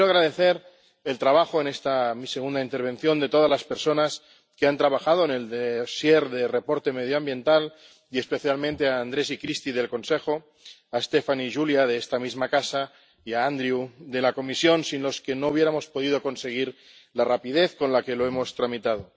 Quiero agradecer el trabajo, en esta mi segunda intervención, de todas las personas que han trabajado en el dosier sobre la información medioambiental, y especialmente a Andrés y Kristi, del Consejo, a Stefan y Julia, de esta misma casa, y a Andrew, de la Comisión, sin los que no hubiéramos podido conseguir la rapidez con la que lo hemos tramitado.